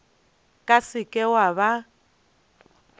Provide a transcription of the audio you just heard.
ka se ke wa ba